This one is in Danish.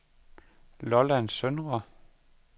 Lolland Søndre